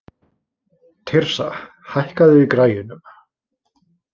Tirsa, hækkaðu í græjunum.